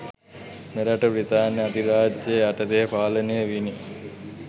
මෙරට බි්‍රතාන්‍ය අධිරාජ්‍යය යටතේ පාලනය විණි